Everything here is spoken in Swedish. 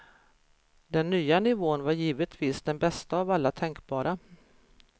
Den nya nivån var givetvis den bästa av alla tänkbara.